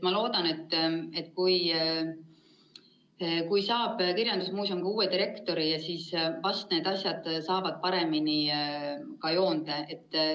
Ma loodan, et kui kirjandusmuuseum saab uue direktori, siis vast need asjad saavad paremini joonde.